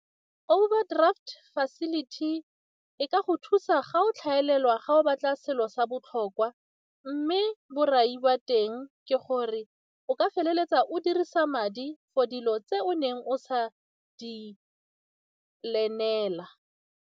Overdraft facility e ka go thusa ga o tlhagelela ga o batla selo sa botlhokwa mme borai wa teng ke gore o ka feleletsa o dirisa madi for dilo tse o neng o sa di plan-ela.